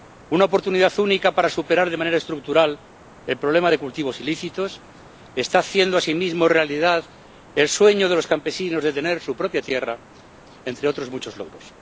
Una oportunidad única para superar de manera estructural el problema de los cultivos ilícitos, que está haciendo asimismo realidad el sueño de los campesinos de tener su propia tierra, entre otros muchos logros.